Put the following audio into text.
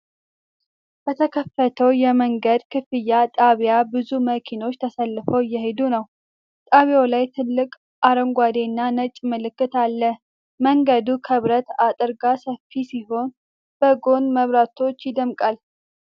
በተከፈተው የመንገድ ክፍያ ጣቢያ ብዙ መኪናዎች ተሰልፈው እየሄዱ ነው። ጣቢያው ላይ ትልቅ አረንጓዴ እና ነጭ ምልክት አለ። መንገዱ ከብረት አጥር ጋር ሰፊ ሲሆን፣ በጎን መብራቶች ይደምቃል።